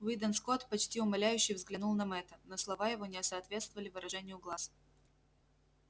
уидон скотт почти умоляюще взглянул на мэтта но слова его не соответствовали выражению глаз